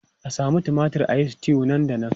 A samu tumatir a yi stew nan da nan!